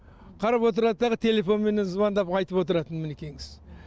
қарап отырады дағы телефонменен звондап айтып отырады мінекейіңіз